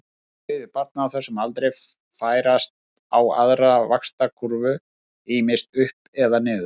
Tveir þriðju barna á þessum aldri færast á aðra vaxtarkúrfu, ýmist upp eða niður.